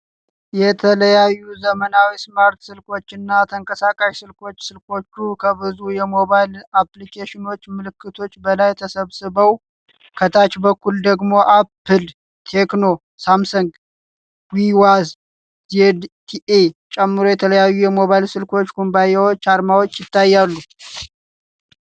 የተለያዩ ዘመናዊ ስማርት ስልኮች እና ተንቀሳቃሽ ስልኮች። ስልኮቹ ከብዙ የሞባይል አፕሊኬሽኖች ምልክቶች በላይ ተሰብስበው ። ከታች በኩል ደግሞ አፕል፣ ቴክኖ፣ ሳምሰንግ፣ ዊዋይ፣ ዜድቲኢን ጨምሮ የተለያዩ የሞባይል ስልክ ኩባንያዎች አርማዎች ይታያሉ።